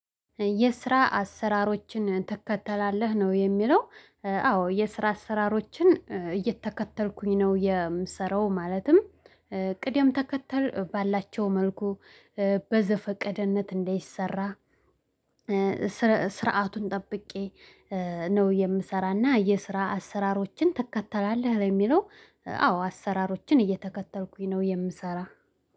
የስራ አሰራሮችን ትከተላለህ ነው የሚለው? አዎ የስራ አሰራሮችን እየተከተልኩኝ ነው የምሰራው። ማለትም ቅደም ተከተል ባላቸው መልኩ በዘፈቀደነት እንደይሰራ። ስርዓቱን ጠብቄ ነው። የምሰራና የስራ አሰራሮችን ትከተላለህ ለሚለው አዎ አሰራሮችን እየተከተልኩኝ ነው የምሰራ